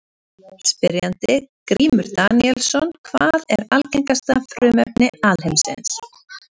Spyrjandi: Grímur Daníelsson Hvað er algengasta frumefni alheimsins?